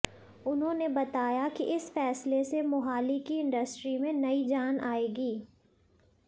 उन्होंने बताया कि इस फैसले से मोहाली की इंडस्ट्री में नई जान आएगी